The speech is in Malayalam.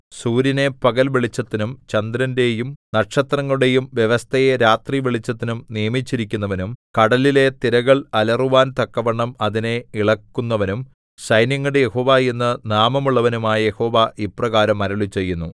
സൂര്യനെ പകൽ വെളിച്ചത്തിനും ചന്ദ്രന്റെയും നക്ഷത്രങ്ങളുടെയും വ്യവസ്ഥയെ രാത്രി വെളിച്ചത്തിനും നിയമിച്ചിരിക്കുന്നവനും കടലിലെ തിരകൾ അലറുവാൻ തക്കവണ്ണം അതിനെ ഇളക്കുന്നവനും സൈന്യങ്ങളുടെ യഹോവ എന്നു നാമമുള്ളവനുമായ യഹോവ ഇപ്രകാരം അരുളിച്ചെയ്യുന്നു